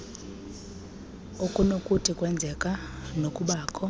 okunokuthi kwenzeke nokubakho